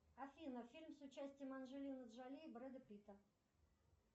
афина фильм с участием анджелины джоли и брэда питта